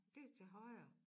Det til højre